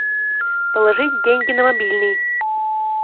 положить деньги на мобильный